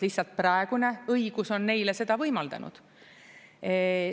Lihtsalt praegune õigus on neile seda võimaldanud.